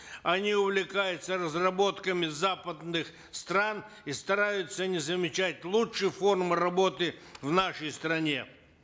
они увлекаются разработками западных стран и стараются не замечать лучшие формы работы в нашей стране